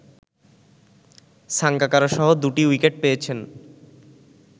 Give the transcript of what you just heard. সাঙ্গাকারারসহ দুটি উইকেট পেয়েছেন